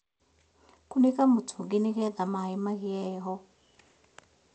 Kũnĩka mũtũngi nĩgetha maĩ magĩe heho